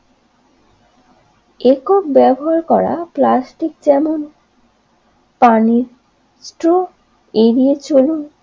একক ব্যবহার করা প্লাস্টিক যেমন পানিস্ত্র এড়িয়ে চলুন